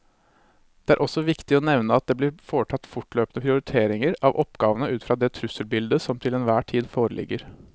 Det er også viktig å nevne at det blir foretatt løpende prioritering av oppgavene ut fra det trusselbildet som til enhver tid foreligger.